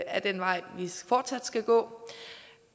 er den vej vi fortsat skal gå